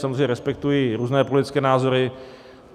Samozřejmě respektuji různé politické názory.